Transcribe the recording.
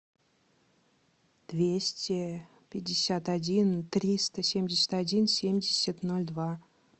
двести пятьдесят один триста семьдесят один семьдесят ноль два